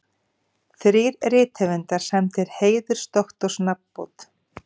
Þrír rithöfundar sæmdir heiðursdoktorsnafnbót